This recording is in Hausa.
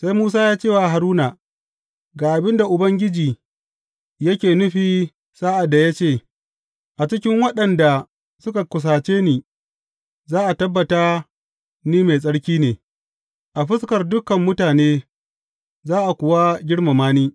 Sai Musa ya ce Haruna, Ga abin da Ubangiji yake nufi sa’ad da ya ce, A cikin waɗanda suka kusace ni za a tabbata ni mai tsarki ne; a fuskar dukan mutane za a kuwa girmama ni.’